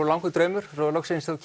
langur draumur svo loksins þegar